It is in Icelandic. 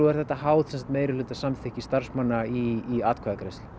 er þetta háð meirihluta starfsmanna í atkvæðagreiðslu